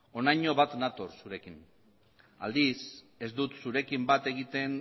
honaino bat natoz zurekin aldiz ez dut zurekin bat egiten